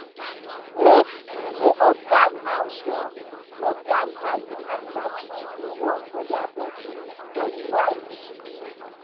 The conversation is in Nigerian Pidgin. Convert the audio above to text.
make you da observe how your observe how your animal food da work for dia body for dry season